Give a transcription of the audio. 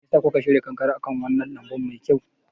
Me ya sa kuka shirya kankare akan wannan lambun mai kyau?